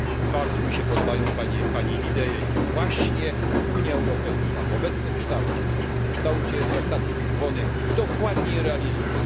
Bardzo mi się podobają pani idee i Unia Europejska w obecnym kształcie i w kształcie traktatu z Lizbony właśnie dokładnie je realizuje.